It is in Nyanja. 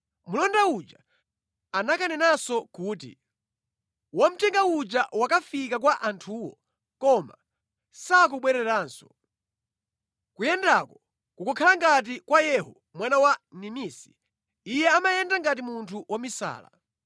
Mlonda uja anakanenanso kuti, “Wamthenga uja wakafika kwa anthuwo koma sakubwereranso. Kuyendako kukukhala ngati kwa Yehu mwana wa Nimisi, iye amayenda ngati munthu wamisala.”